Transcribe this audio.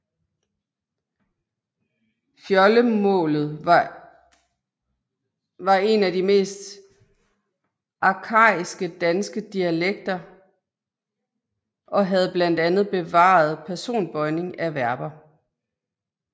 Fjoldemålet var en af de mest arkaiske danske dialekter og havde blandt andet bevaret personbøjning af verber